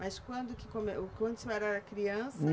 Mas quando que come, quando o senhor era criança?